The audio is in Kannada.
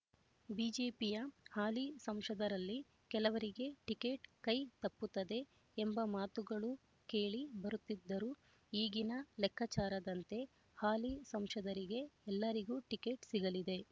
ಬಿಜೆಪಿಯ ಹಾಲಿ ಸಂಸದರಲ್ಲಿ ಕೆಲವರಿಗೆ ಟಿಕೆಟ್ ಕೈ ತಪ್ಪುತ್ತದೆ ಎಂಬ ಮಾತುಗಳು ಕೇಳಿ ಬರುತ್ತಿದ್ದಾರೂ ಈಗಿನ ಲೆಕ್ಕಾಚಾರದಂತೆ ಹಾಲಿ ಸಂಸದರಿಗೆ ಎಲ್ಲರಿಗೂ ಟಿಕೆಟ್ ಸಿಗಲಿದೆ